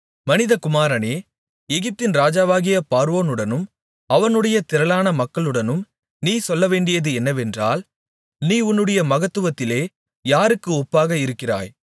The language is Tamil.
மனிதகுமாரனே எகிப்தின் ராஜாவாகிய பார்வோனுடனும் அவனுடைய திரளான மக்களுடனும் நீ சொல்லவேண்டியது என்னவென்றால் நீ உன்னுடைய மகத்துவத்திலே யாருக்கு ஒப்பாக இருக்கிறாய்